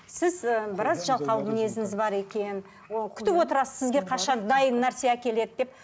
сіз ы біраз жалқау мінезіңіз бар екен күтіп отырасыз сізге қашан дайын нәрсе әкеледі деп